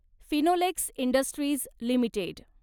Finolex Industries limited